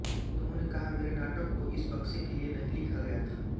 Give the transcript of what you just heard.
उन्होंने कहा मेरे नाटक को इस बक्से के लिए नहीं लिखा गया था